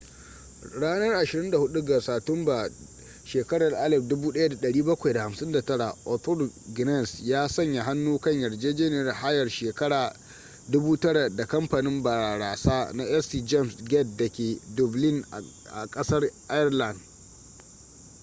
ranar 24 ga satumba 1759 arthur guinness ya sanya hannu kan yarjejeniyar hayar shekara 9,000 da kamfanin barasa na st jame's gate da ke dublin a kasar ireland